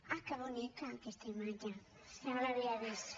ah que bonica aquesta imatge és que no l’havia vist